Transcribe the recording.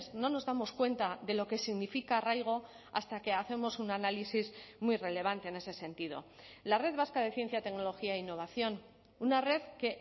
no nos damos cuenta de lo que significa arraigo hasta que hacemos un análisis muy relevante en ese sentido la red vasca de ciencia tecnología e innovación una red que